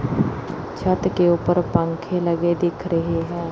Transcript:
छत के उपर पंखे लगे दिख रहे हैं।